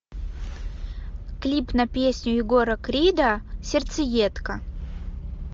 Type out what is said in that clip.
клип на песню егора крида сердцеедка